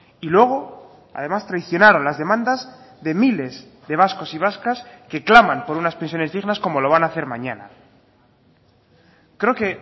y luego además traicionaron las demandas de miles de vascos y vascas que claman por unas pensiones dignas como lo van a hacer mañana creo que